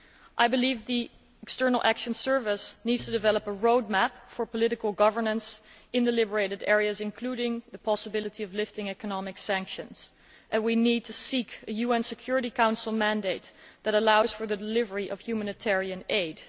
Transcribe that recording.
I believe the External Action Service needs to develop a roadmap for political governance in the liberated areas that includes the possibility of lifting economic sanctions, and we need to seek a UN Security Council mandate that allows for the delivery of humanitarian aid.